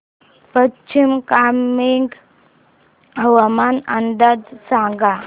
पश्चिम कामेंग हवामान अंदाज सांगा